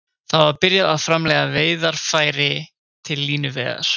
Þar var byrjað að framleiða veiðarfæri til línuveiða.